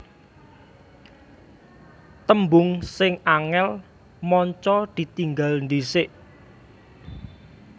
Tembung sing angel/manca ditinggal dhisik